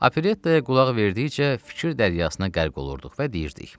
Operettaya qulaq verdikcə fikir dəryasına qərq olurduq və deyirdik.